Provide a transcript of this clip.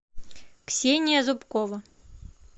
ксения зубкова